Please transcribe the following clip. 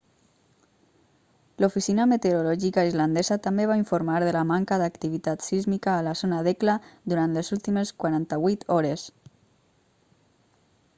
l'oficina meteorològica islandesa també va informar de la manca d'activitat sísmica a la zona d'hekla durant les últimes 48 hores